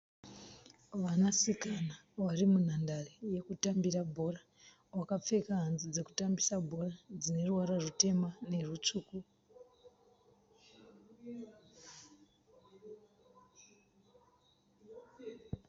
Vanasikana varimunhandare yekutambira bhora. Vakapfeka hanzu dzekutambisa bhora dzineruvara rutema nerutsvuku.